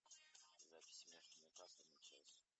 запись между ньюкасл и челси